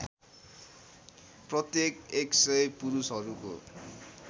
प्रत्येक १०० पुरुषहरूको